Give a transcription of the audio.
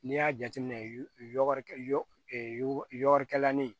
N'i y'a jateminɛ yɔrɔnin kelen